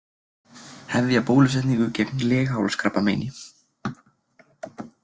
Hefja bólusetningu gegn leghálskrabbameini